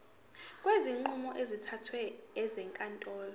kwezinqumo ezithathwe ezinkantolo